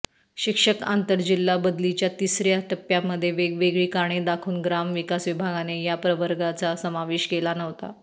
शिक्षक आंतरजिल्हा बदलीच्या तिसर्या टप्प्यामध्ये वेगवेगळी कारणे दाखवून ग्रामविकास विभागाने या प्रवर्गाचा समावेश केला नव्हता